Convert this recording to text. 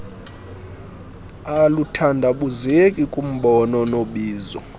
aluthandabuzeki kumbono nobizo